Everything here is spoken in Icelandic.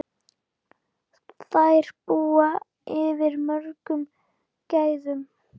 Þær búa yfir mörgum gæðum.